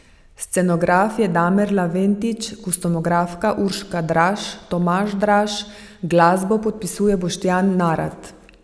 Scenograf je Damir Leventič, kostumografa Urška Draž in Tomaž Draž, glasbo podpisuje Boštjan Narat.